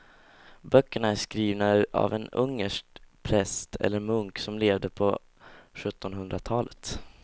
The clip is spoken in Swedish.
Böckerna är skrivna av en ungersk präst eller munk som levde på sjuttonhundratalet.